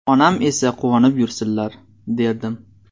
Onam esa quvonib yursinlar”, derdim.